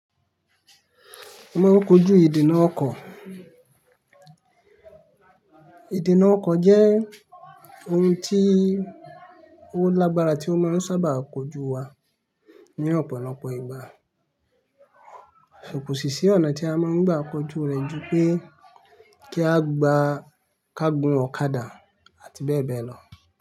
A máa ń kojú ìdènà ọkọ̀. Ìdènà ọkọ̀ jẹ́ ohun tí ó lágbára tí ó máa ń sábà kojú wa ní ọ̀pọ̀lọpọ̀ ìgbà. But kó ṣìṣí ọ̀nà tí a máa ń gbà kojú rẹ̀ ju pé kí a gbà ká gun ọ̀kadà àti bẹ́ẹ̀ bẹ́ẹ̀ lọ.